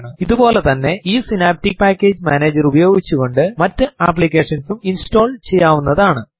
ഇതുപോലെ തന്നെ ഈ സിനാപ്റ്റിക് പാക്കേജ് മാനേജർ ഉപയോഗിച്ചുകൊണ്ട് മറ്റു അപ്ലിക്കേഷൻസ് ഉം ഇൻസ്റ്റോൾ ചെയ്യാവുന്നതാണ്